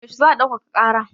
Yaushe za a ɗaukaka ƙara?